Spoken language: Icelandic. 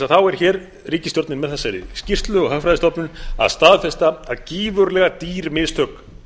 þá er hér ríkisstjórnin með þessari skýrslu úr hagfræðistofnun að staðfesta að gífurlega dýr mistök